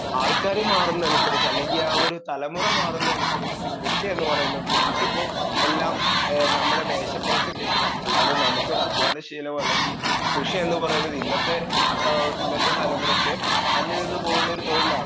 speaker 2 ആൾക്കാര് മാറുന്നതിനനുസരിച്ച്‌ അല്ലെങ്കി ആ ഒരു തലമുറ മാറുന്നതിനനുസരിച്ച്‌ കൃഷിയെന്ന് പറയുന്നത് നമുക്കിപ്പൊ എല്ലാം ഏ നമ്മുടെ മേശപ്പുറത്ത് കിട്ടണം അല്ലാതെ നമുക്കൊരദ്ധ്വാനശീലം അല്ലെങ്കി കൃഷിയെന്ന് പറയുന്നത് ഇന്നത്തെ ഏ ഇന്നത്തെ തലമുറക്ക് അന്യം നിന്ന് പോവുന്ന ഒരു തൊഴിലാണ്